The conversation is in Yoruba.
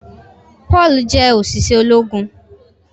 Paul jẹ oṣiṣẹ ológun.